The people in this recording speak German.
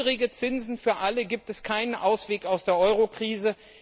Ohne niedrige Zinsen für alle gibt es keinen Ausweg aus der Eurokrise.